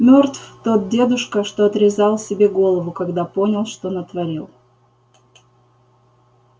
мёртв тот дедушка что отрезал себе голову когда понял что натворил